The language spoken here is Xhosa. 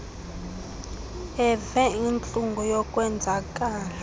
eve intlungu yokwenzakala